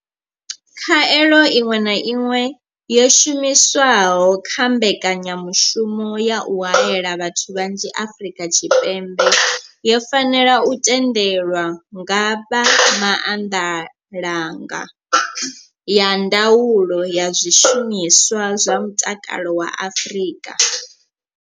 Khaelo iṅwe na iṅwe yo shumiswaho kha mbeka nyamushumo ya u haela vhathu vhanzhi Afrika Tshipembe yo fanela u tendelwa nga vha maanḓalanga a ndaulo ya zwishumiswa zwa mutakalo wa Afrika.